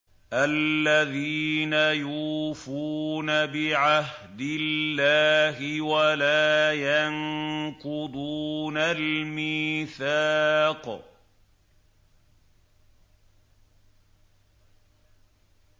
الَّذِينَ يُوفُونَ بِعَهْدِ اللَّهِ وَلَا يَنقُضُونَ الْمِيثَاقَ